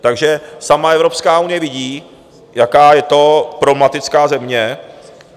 Takže sama Evropská unie vidí, jaká je to problematická země.